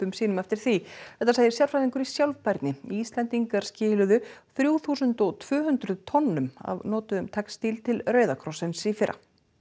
sínum eftir því þetta segir sérfræðingur í sjálfbærni Íslendingar skiluðu þrjú þúsund og tvö hundruð tonnum af notuðum textíl til Rauða krossins í fyrra